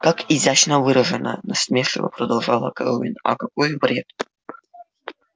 как изящно выражено насмешливо продолжала кэлвин а какой вред